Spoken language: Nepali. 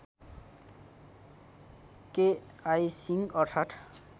केआई सिंह अर्थात्